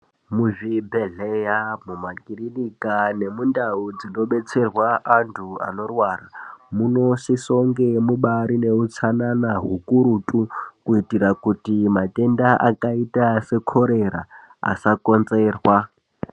Muzvibhedhlera nemumakirinika nemundau dzinobetserwa antu anorwara munosisa kunge mubari neutsanana hukurutu kuitira kuti matenda akaita sekorera asakonzerwa.